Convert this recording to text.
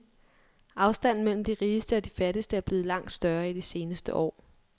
Afstanden mellem de rigeste og de fattigste er blevet langt større i de seneste år.